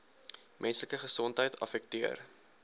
menslike gesondheid affekteer